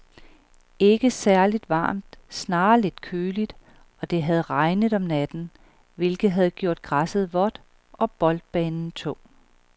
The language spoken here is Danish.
Ikke særligt varmt, snarere lidt køligt, og det havde regnet om natten, hvilket havde gjort græsset vådt og boldbanen tung.